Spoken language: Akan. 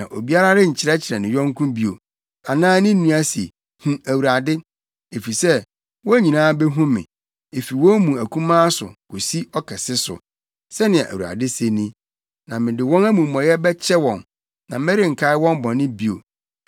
Na obiara renkyerɛkyerɛ ne yɔnko bio, anaa ne nua se, ‘Hu Awurade,’ Efisɛ, wɔn nyinaa behu me, efi wɔn mu akumaa so, kosi ɔkɛse so,” Sɛnea Awurade se ni. “Na mede wɔn amumɔyɛ bɛkyɛ wɔn, na merenkae wɔn bɔne bio.”